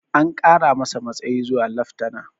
An kara masa matsayi zuwa leftana